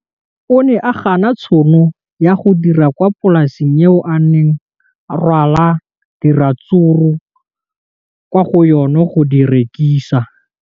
O ne a gana tšhono ya go dira kwa polaseng eo a neng rwala diratsuru kwa go yona go di rekisa.